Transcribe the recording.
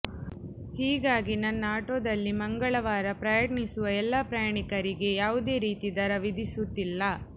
ಹೀಗಾಗಿ ನನ್ನ ಆಟೋದಲ್ಲಿ ಮಂಗಳವಾರ ಪ್ರಯಾಣಿಸುವ ಎಲ್ಲ ಪ್ರಯಾಣಿಕರಿಗೆ ಯಾವುದೇ ರೀತಿ ದರ ವಿಧಿಸುತ್ತಿಲ್ಲ